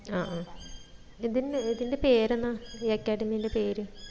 ആ ആഹ് ഇതിന് ഇതിന്റെ പേരെന്നാ ഈ academy ടെ പേര്